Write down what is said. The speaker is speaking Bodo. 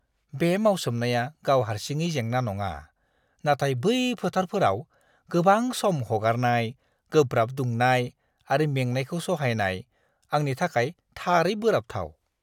बे मावसोमनाया गाव हारसिङै जेंना नङा, नाथाय बै फोथारफोराव गोबां सम हगारनाय, गोब्राब दुंनाय आरो मेंनायखौ सहायनाय, आंनि थाखाय थारै बोराबथाव!